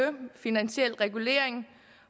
finansiel regulering